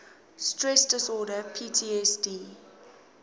stress disorder ptsd